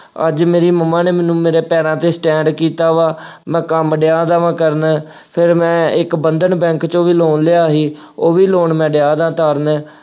ਅੱਜ ਮੇਰੀ ਮੰਮਾ ਨੇ ਮੈਨੂੰ ਮੇਰੇ ਪੈਰਾਂ ਤੇ stand ਕੀਤਾ ਵਾ, ਮੈਂ ਕੰਮ ਡਿਆ ਵਾ ਕਰਨ, ਫੇਰ ਮੈਂ ਇੱਕ ਬੰਧਨ ਬੈਂਕ ਚੋਂ ਵੀ loan ਲਿਆ ਸੀ, ਉਹ loan ਮੈਂ ਡਿਆਂ ਵਾ ਉਤਾਰਨ।